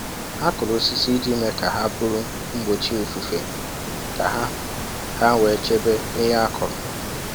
Ha kụrụ osisi iji mee ka ha bụrụ mgbochi ifufe ka ha ha wee chebe ihe a kụrụ